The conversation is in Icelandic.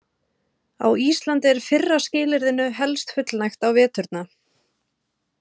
Á Íslandi er fyrra skilyrðinu helst fullnægt á veturna.